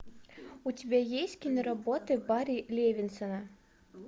у тебя есть киноработы барри левинсона